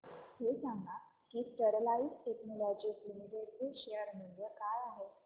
हे सांगा की स्टरलाइट टेक्नोलॉजीज लिमिटेड चे शेअर मूल्य काय आहे